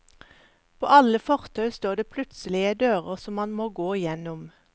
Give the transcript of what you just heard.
På alle fortau står det plutselige dører som man må gå igjennom.